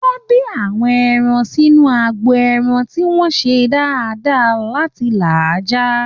Wọ́n bí àwọn erin sínú agbo ẹran tí wọ́n ń ṣe dáadáa láti là á já